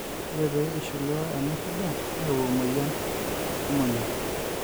ore pee ishliwa ena shida neyau e moyian emonyua